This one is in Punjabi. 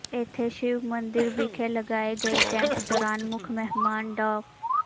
ਇੱਥੇ ਸ਼ਿਵ ਮੰਦਰ ਵਿਖੇ ਲਗਾਏ ਗਏ ਕੈਂਪ ਦੌਰਾਨ ਮੁੱਖ ਮਹਿਮਾਨ ਡਾ